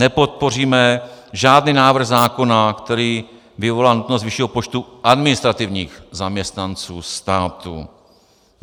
Nepodpoříme žádný návrh zákona, který vyvolá nutnost vyššího počtu administrativních zaměstnanců státu.